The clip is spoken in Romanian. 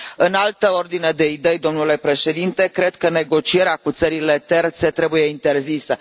În altă ordine de idei, domnule președinte, cred că negocierea cu țările terțe trebuie interzisă.